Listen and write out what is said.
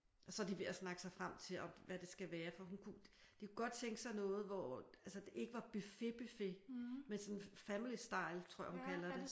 Og så er de ved at snakke sig frem til hvad det skal være fordi hun kunne de kunne godt tænke sig noget hvor altså det ikke er buffet buffet men sådan family style tror jeg at hun kalder det